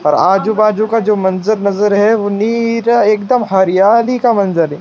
पर आजू बाजू का जो मंजर नजर है एक दम हरियाली का मंजर है।